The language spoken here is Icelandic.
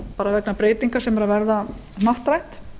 bara vegna breytinga sem eru að verða hnattrænt